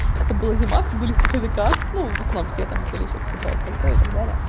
это была зима все были в пуховиках ну в основном все там были в пальто и так далее